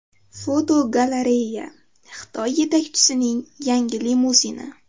Fotogalereya: Xitoy yetakchisining yangi limuzini.